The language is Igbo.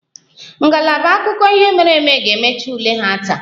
Ngalaba akụkọ ihe mere eme ga-emecha ule ha taa